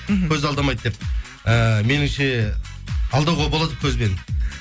мхм көз алдамайды деп ыыы меніңше алдауға болады көзбен